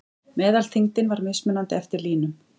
Meðalþyngdin var mismunandi eftir línum.